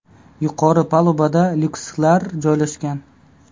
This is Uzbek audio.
Yuqori palubada lyukslar joylashgan.